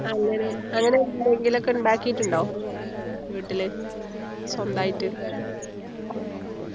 അങ്ങനെ അങ്ങനെ എന്തെങ്കിലും ഒക്കെ ഉണ്ടാക്കിയിട്ടുണ്ടോ വീട്ടിൽ സ്വന്തമായിട്ട്